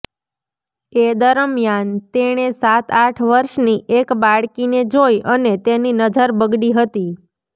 એ દરમિયાન તેણે સાત આઠ વર્ષની એક બાળકીને જોઈ અને તેની નજર બગડી હતી